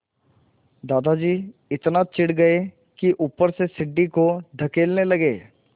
दादाजी इतना चिढ़ गए कि ऊपर से सीढ़ी को धकेलने लगे